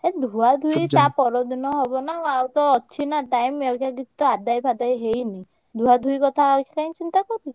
ଏ ଧୁଆଧୁଇ ତା ପର ଦିନ ହବ ନା। ଆଉ ତ ଅଛି ନା time ଅଇଖା କିଛି ତ ଆଦାୟ ଫାଦାୟ ହେଇନି। ଧୁଆଧୁଇ କଥା ଅଇଖା କାଇଁ ଚିନ୍ତା କରୁଚୁ।